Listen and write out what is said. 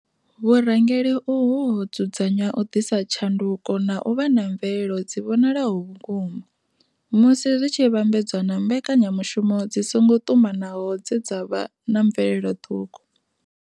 Vhu rangeli uhu ho dzudzanywa u ḓisa tshanduko na u vha na mvelelo dzi vhonalaho vhukuma, musi zwi tshi vhambedzwa na mbekanyamushumo dzi songo ṱumanaho dze dza vha na mvelelo ṱhukhu.